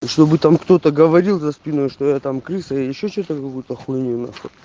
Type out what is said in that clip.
и чтобы там кто-то говорил за спиной что я там крыса я ещё что-то какую-то хуйню на хуй